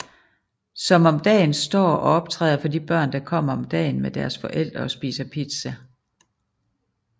Som om dagen står og optræder for de børn der kommer om dagen med deres forældre og spiser pizza